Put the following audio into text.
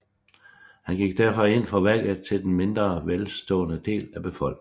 Han gik derfor ind for valgret til den mindre velstående del af befolkningen